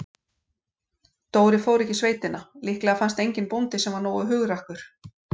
Dóri fór ekki í sveitina, líklega fannst enginn bóndi, sem var nógu hugrakkur.